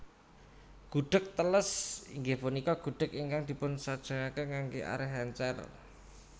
Gudheg teles inggih punika gudheg ingkang dipunsajèkaken nganggé arèh èncèr